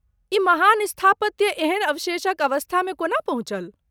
ई महान स्थापत्य एहन अवशेषक अवस्थामे कोना पहुँचल?